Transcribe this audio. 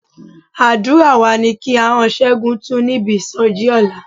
Àdúrà wa ni kí ahọ́n Ṣẹ́gun tú níbi ìsọjí ọ̀la.